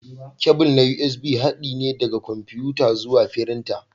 Kebul na USB haɗi ne daga kwamfuta zuwa firinta.